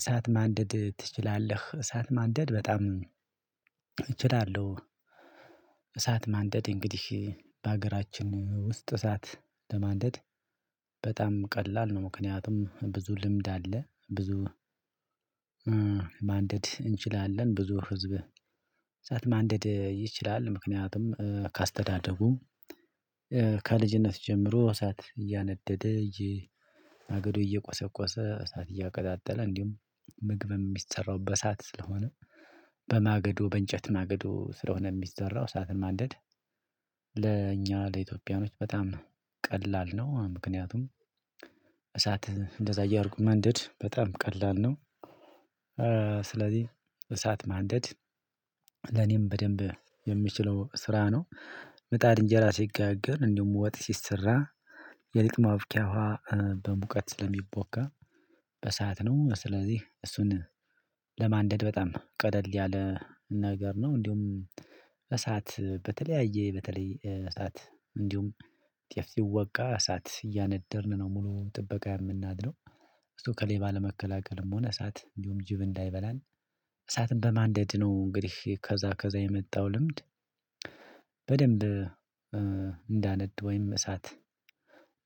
እሳት ማንደድ ትችላለህ? እሳት ማንደድ በጣም እችላለሁ እሳት ማንደድ እንግዲህ በሀገራችን ውስጥ እሳት ለማንደድ በጣም ቀላል ነው ምክንያቱም ብዙ ልምድ አለ ብዙ ማንደድ እንችላለን ብዙ ህዝብህ ሰዓት ማንደድ ይችላል ምክንያቱም ከአስተዳደጉ ከልጅነት ጀምሮ እሳት እያነደደ እየ ማገዶ እየቆሰቆሰ፣ እሳት እያቀጣጠለ፣ እንዲሁም ምግብ የሚሰራው በእሳት ስለሆነ በማገዶ በእንጨት ማገዶ ስለሆነ የሚሰራው እሳትን ማንደድ ለእኛ ለኢትዮጵያኖች በጣም ቀላል ነው ምክንያቱም እንደዛ እያደረጉ ማንደድ በጣም ቀላል ነው። ስለዚህ እሳት ማንደድ ለኔም በደንብ የምችለው ስራ ነው። ለእኛ ለኢትዮጵያኖች በጣም ቀላል ነው ምክንያቱም እንደዛ እያደረጉ ማንደድ በጣም ቀላል ነው። ለማንደድ በጣም ቀደል ያለ ነገር ነው፤ እንዲሁም እሳት በተለያየ በተለይ እሳት እንዲሁም ጤፍ ሲወቃ እሳት እያነደርን ነው ሙሉ ጥበቃ የምናድረው። እሱ ከሌባ ለመከላከልም ሆነ እሳት እንዲሁም ጅብ እንዳይበላን እሳትን በማንደድ ነው እንግዲህ ከዛ ከዛ የመጣው ልምድ በደንብ እንዳነድ ወይም እሳት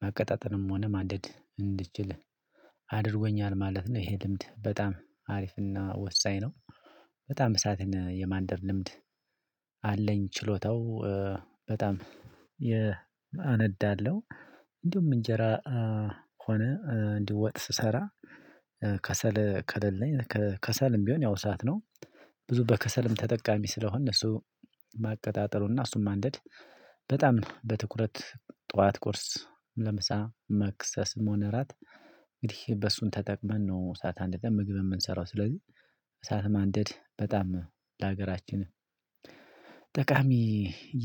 ማቀጣጠልም ሆነ ማደድ እንድችል አድርጎኛል ማለት ነው ይሄ ልምድ በጣም አሪፍና ወሳኝ ነው። በጣም እሳትን የማንደድ ልምድ አለኝ። ችሎታው በጣም የ አነዳለሁ እንዲሁም እንጀራ ሆነ እንዲሁም ወጥ ስሰራ ከሰል ከሌለኝ ከ ከሰልም ቢሆን ያው ሰዓት ነው ብዙ በከሰልም ተጠቃሚ ስለሆን እሱ ማቀጣጠሉና እሱን ማንደድ በጣም በትኩረት ጠዋት ቁርስ ለምሳ መክሰስ መሆን እራት እንግዲህ በሱን ተጠቅመን ነው ሰዓት አንድ ምግብ የምንሰራው፤ ስለዚህ እሳት ማንደድ በጣም ለሀገራችንም ጠቃሚ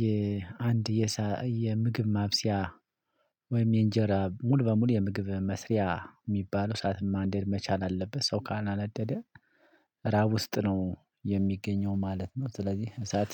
የአንድ የምግብ ማብሰያ ወይም የእንጀራ ሙሉ በሙሉ የምግብ መስሪያ የሚባለው ሰዓት ማንደድ መቻል አለበት ሰው ካላነደደ ራብ ውስጥ ነው የሚገኘው ማለት ነው፤ ስለዚህ እሳት